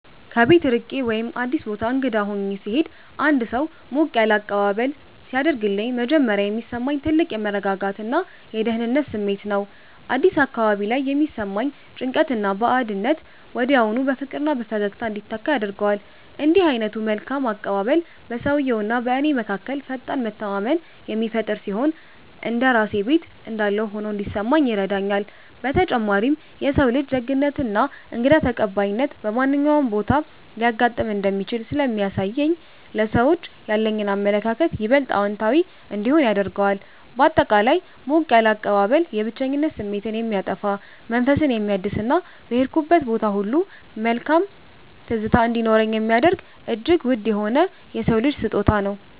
ከቤት ርቄ ወይም አዲስ ቦታ እንግዳ ሆኜ ስሄድ አንድ ሰው ሞቅ ያለ አቀባበል ሲያደርግልኝ መጀመሪያ የሚሰማኝ ትልቅ የመረጋጋትና የደህንነት ስሜት ነው። አዲስ አካባቢ ላይ የሚሰማኝን ጭንቀትና ባዕድነት ወዲያውኑ በፍቅርና በፈገግታ እንዲተካ ያደርገዋል። እንዲህ ዓይነቱ መልካም አቀባበል በሰውየውና በእኔ መካከል ፈጣን መተማመንን የሚፈጥር ሲሆን፣ እንደ ራሴ ቤት እንዳለሁ ሆኖ እንዲሰማኝ ይረዳኛል። በተጨማሪም የሰው ልጅ ደግነትና እንግዳ ተቀባይነት በማንኛውም ቦታ ሊያጋጥም እንደሚችል ስለሚያሳየኝ ለሰዎች ያለኝ አመለካከት ይበልጥ አዎንታዊ እንዲሆን ያደርገዋል። ባጠቃላይ ሞቅ ያለ አቀባበል የብቸኝነት ስሜትን የሚያጠፋ፣ መንፈስን የሚያድስና በሄድኩበት ቦታ ሁሉ መልካም ትዝታ እንዲኖረኝ የሚያደርግ እጅግ ውድ የሆነ የሰው ልጅ ስጦታ ነው።